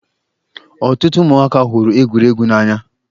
Ọtụtụ ụmụaka hụrụ egwuregwu n'anya.